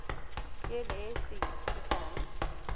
tuelo e o se kitlang